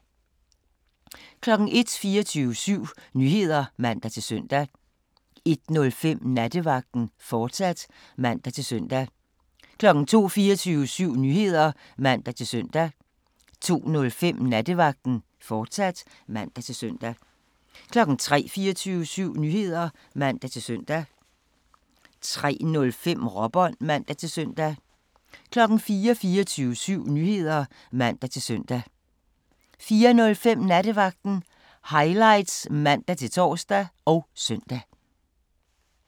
01:00: 24syv Nyheder (man-søn) 01:05: Nattevagten, fortsat (man-søn) 02:00: 24syv Nyheder (man-søn) 02:05: Nattevagten, fortsat (man-søn) 03:00: 24syv Nyheder (man-søn) 03:05: Råbånd (man-søn) 04:00: 24syv Nyheder (man-søn) 04:05: Nattevagten Highlights (man-tor og søn)